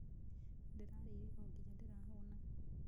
Ndĩrarĩire o nginya ndĩrahũũna.